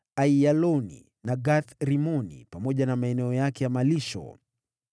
Aiyaloni na Gath-Rimoni, pamoja na maeneo yake ya malisho.